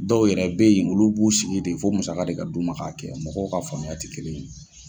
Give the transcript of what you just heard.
Dɔw yɛrɛ bɛ ye olu b'u sigi ten fo musaka de ka d'u ma ka kɛ mɔgɔw ka faamuya tɛ kelen ye.